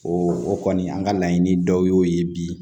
O o kɔni an ka laɲini dɔw y'o ye bi